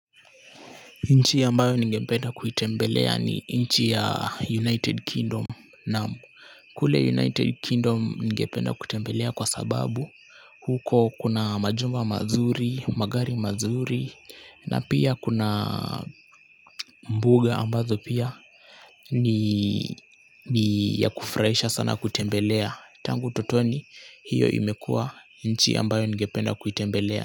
Nchi ambayo ningependa kuitembelea ni nchi ya United Kingdom naam. Kule United Kingdom ningependa kutembelea kwa sababu huko kuna majumba mazuri, magari mazuri na pia kuna mbuga ambazo pia ni yakufurahisha sana kutembelea. Tangu utotoni hiyo imekua nchi ambayo ningependa kuitembelea.